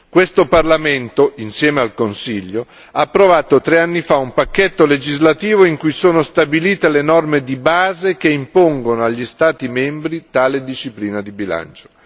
Questo Parlamento insieme al Consiglio ha approvato tre anni fa un pacchetto legislativo in cui sono stabilite le norme di base che impongono agli Stati membri tale disciplina di bilancio.